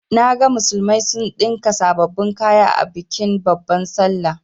Naga musulmai sun ɗinka sababbin kaya a bikin babban sallah.